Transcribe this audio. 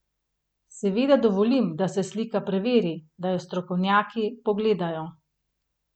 Seveda dovolim, da se slika preveri, da jo strokovnjaki pogledajo.